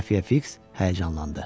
Xəfiyə Fiks həyəcanlandı.